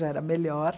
Já era melhor.